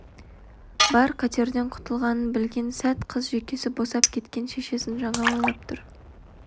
бар қатерден құтылғанын білген сәт қыз жүйкесі босап кеткен шешесін жаңа ойлап тұр